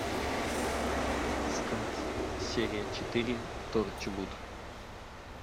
искать серия четыре торчвуд